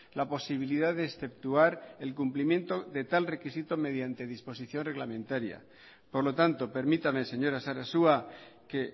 la posibilidad de exceptuar el cumplimiento de tal requisito mediante disposición reglamentaria por lo tanto permítame señora sarasua que